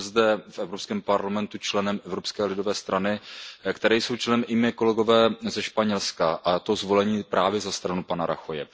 Jsem zde v Evropském parlamentu členem Evropské lidové strany, ve které jsou členy i moji kolegové ze Španělska, a to zvolení právě za stranu pana Rajoye.